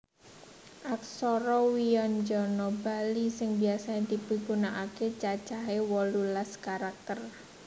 Aksara wyanjana Bali sing biasa dipigunakaké cacahé wolulas karakter